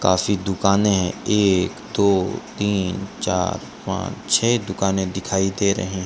काफी दुकानें है एक दो तीन चार पांच छे दुकानें दिखाई दे रहे --